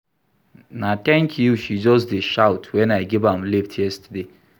Na tank you she just dey shout wen I give am lift yesterday.